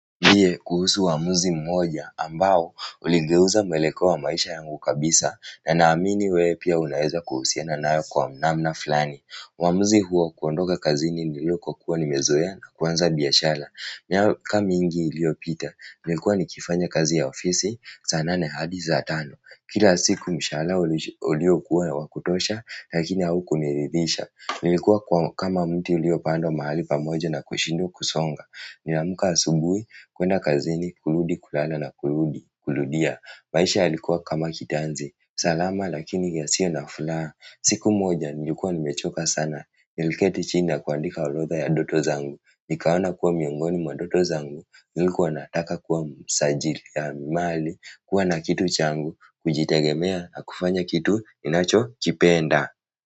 Niambie kuhusu uamuzi mmoja ambao uligeuza mueleko wa maisha yangu kabisa, na naamini wewe pia unaweza kuhusiana nayo kwa namna flani. Uamuzi huo ni kuondoka kazi nilipokua nimezoea na kuanza biashara. Miaka mingi iliyopita, nilikuwa nikifanya kazi ya ofisi saa nane hadi saa tano. Kila siku mshahara uliokuwa wa kutosha lakini haukuniridhisha. Nilikuwa kama mti uliopandwa mahali pamoja na kushindwa kusonga. Ninaamka asubuhi, kwenda kazini, kurudi, kulala na kuludi, kurudia. Maisha yalikuwa kama kitanzi, salama lakini yasiyo na furaha. Siku moja, nilikuwa nimechoka sana, niliketi chini na kuandika orodha ya ndoto zangu nikaona kuwa miongoni mwa ndoto zangu, nilikuwa nataka kuwa msajili ya mali, kuwa na kitu changu, kujitegemea na kufanya kitu, ninachokipenda.